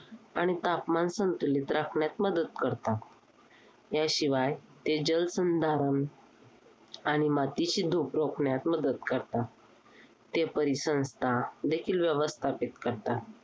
आणि तापमान संतुलित राखण्यात मदत करतात. याशिवाय ते जलसंधारण, आणि मातीची धूप रोखण्यात मदत करतात. ते परिसंस्थादेखील व्यवस्थापित करतात